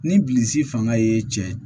Ni bilisi fanga ye cɛ